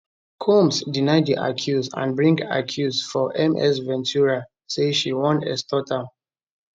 combs deny di accuse and bring accuse for ms ventura say she wan extort am